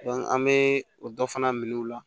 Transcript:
an bɛ o dɔ fana minɛ u la